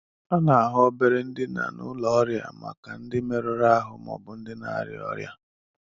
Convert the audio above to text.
A na-ahụ obere ndina n'ụlọ ọrịa maka ndị merụrụ ahụ ma ọ bụ na-arịa ọrịa